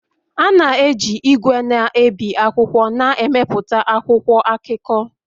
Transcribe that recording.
A na-eji igwe na-ebi akwụkwọ na-emepụta akwụkwọ akụkọ